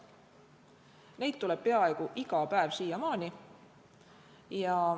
Neid tuleb peaaegu iga päev siiamaani.